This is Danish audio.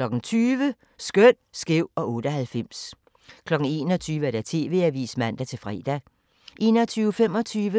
20:00: Skøn, skæv og 98 21:00: TV-avisen (man-fre)